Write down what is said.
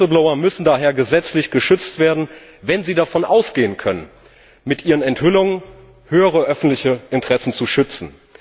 Whistleblower müssen daher gesetzlich geschützt werden, wenn sie davon ausgehen können, mit ihren Enthüllungen höhere öffentliche Interessen zu schützen.